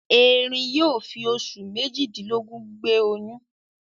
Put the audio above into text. Eerin yóò fi oṣù méjìdínlógún gbé oyún.